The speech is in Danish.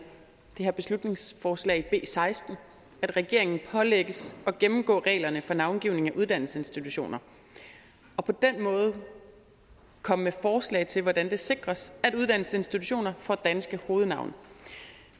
det her beslutningsforslag b seksten at regeringen pålægges at gennemgå reglerne for navngivning af uddannelsesinstitutioner og på den måde komme med forslag til hvordan det sikres at uddannelsesinstitutioner får danske hovednavne